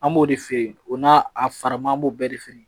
An b'o de feere o n'a a faraman an b'o bɛɛ de feere